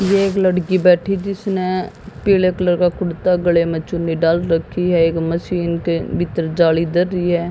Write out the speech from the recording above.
ये एक लड़की बैठी जिसने पीले कलर का कुर्ता गले में चुन्नी डाल रखी है एक मशीन के भीतर जाली दे री है।